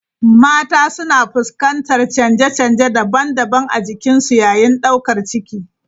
Mata suna fuskantar canje-canje daban-daban a jikinsu yayin daukar ciki.